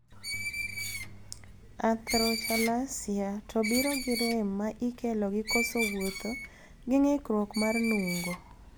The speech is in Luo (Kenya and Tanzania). Arthrochalasia to biro gi rem ma ikelo gi koso wuotho gi ng'ikruok mar nung'o.